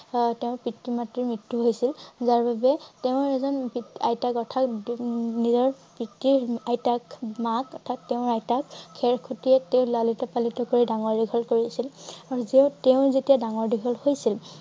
আহ তেওঁৰ পিতৃ মাতৃৰ মৃত্যু হৈছিল যাৰ বাবে তেওঁৰ এজন উম পিত~আইতাক অৰ্থাৎ উম নিজৰ পিতৃৰ আইতাক মাক অৰ্থাৎ তেওঁৰ আইতাক খেৰখুতিয়ে তেওঁক লালিত পালিত কৰি ডাঙৰ দীঘল কৰিছিল। আৰু জেও তেওঁ যেতিয়া ডাঙৰ দীঘল হৈছিল